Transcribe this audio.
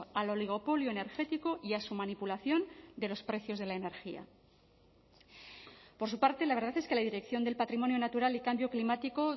a lo oligopolio energético y a su manipulación de los precios de la energía por su parte la verdad es que la dirección del patrimonio natural y cambio climático